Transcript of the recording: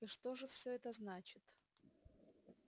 и что же всё это значит